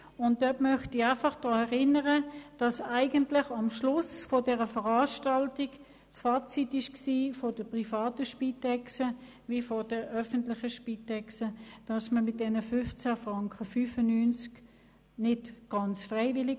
Ich möchte daran erinnern, dass das Fazit am Schluss dieser Veranstaltung sowohl seitens der privaten als auch seitens der öffentlichen Spitexorganisationen lautete, dass man mit den 15.95 Franken leben könne, wenn auch nicht ganz freiwillig.